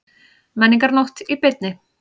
Menningarnótt í beinni